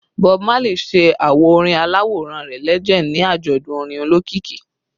Bob Marley ṣe awo orin alaworan rẹ “Legend” ni ajọdun orin olokiki